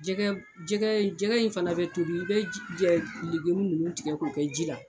Jɛgɛ jɛgɛ in fana bɛ tobi i bɛ ninnu tigɛ k'u kɛ ji la